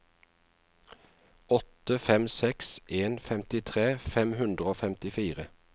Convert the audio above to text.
åtte fem seks en femtitre fem hundre og femtifire